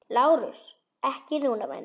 LÁRUS: Ekki núna, væni minn.